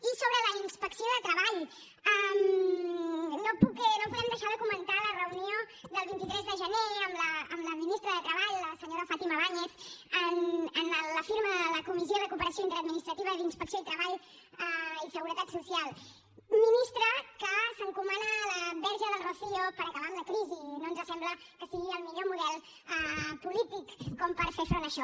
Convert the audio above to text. i sobre la inspecció de treball no podem deixar de comentar la reunió del vint tres de gener amb la ministra de treball la senyora fátima báñez en la firma de la comissió de cooperació interadministrativa d’inspecció de treball i seguretat social ministra que s’encomana a la verge del rocío per posar fi a la crisi i no ens sembla que sigui el millor model polític com per fer front a això